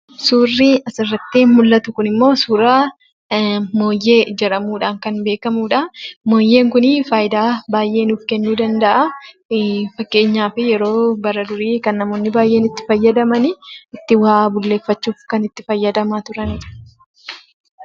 Suurri asirratti mul'atu kunimmoo suuraa mooyyee jedhamuudhaan kan beekamudha. Mooyyeen kun fayidaa baay'ee nuuf kennuu danda'a. Fakkeenyaaf yeroo bara durii baay'een itti fayyadaman itti waa bulleeffachuuf kan itti fayyadamaa turanidha.